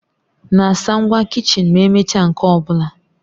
Na-asa ngwá kichin ma emechaa nke ọ bụla.